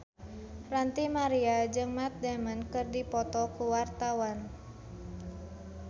Ranty Maria jeung Matt Damon keur dipoto ku wartawan